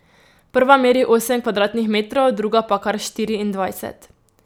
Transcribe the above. Prva meri osem kvadratnih metrov, druga pa kar štiriindvajset.